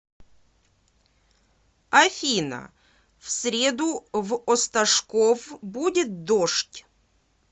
афина в среду в осташков будет дождь